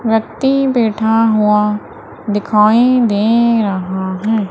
व्यक्ति बैठा हुआ दिखाई दे रहा है।